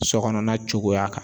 Sɔkɔnɔna cogoya kan